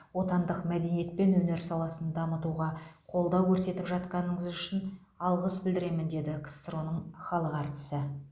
отандық мәдениет пен өнер саласын дамытуға қолдау көрсетіп жатқаныңыз үшін алғыс білдіремін деді ксро ның халық әртісі